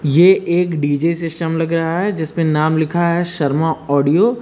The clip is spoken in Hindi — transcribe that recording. यह एक डी_जे सिस्टम लग रहा है जिसमें नाम लिखा है शर्मा ऑडियो ।